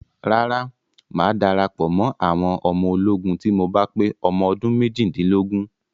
Rárá, mà á darapọ̀ mọ́ àwọn ọmọ ológun tí mo bá pé ọmọ ọdún méjìdínlógún.